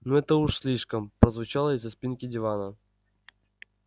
ну это уж слишком прозвучало из-за спинки дивана